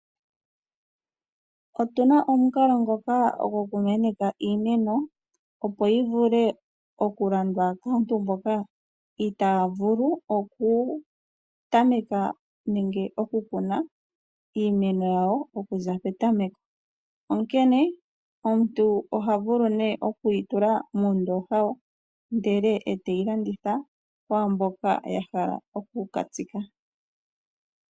Otuna omukalo ngoka goku meneka iimeno, opo yovule okulandwa kaantu mboka itaavulu oku tameka nenge okukuna iimeno yawo okuza petameko. Onkene omuntu ohavulu nee okuyitula muundoha ndele teyilanditha kwaamboka yahala okukatsika.